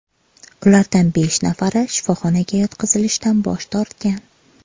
Ulardan besh nafari shifoxonaga yotqizilishdan bosh tortgan.